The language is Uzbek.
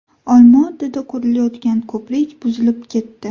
Olma-Otada qurilayotgan ko‘prik buzilib ketdi.